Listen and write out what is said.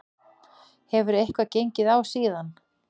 Hefur eitthvað gengið á síðan?